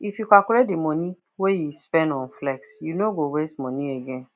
if you calculate the money you spend on flex you no go waste money again